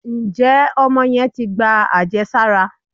Njé Omo yen tí gbá ajésárá